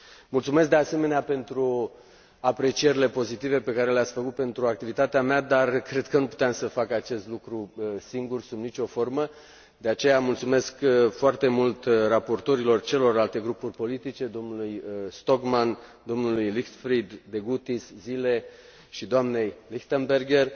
Mulțumesc, de asemenea, pentru aprecierile pozitive pe care le ați făcut pentru activitatea mea, dar cred că nu puteam să fac acest lucru singur, sub nicio formă, de aceea mulțumesc foarte mult raportorilor celorlalte grupuri politice, dlor Stockmann, Leichtfried, Degutis, Zile și dnei Lichtenberger,